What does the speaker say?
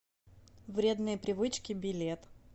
вредные привычки билет